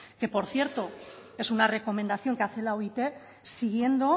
que por cierto es una recomendación que hace la oit siguiendo